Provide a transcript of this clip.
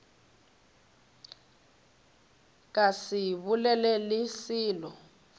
ka se bolele le selo